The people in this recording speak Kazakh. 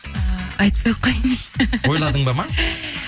ііі айтпай ақ қояйыншы ойладың ба ма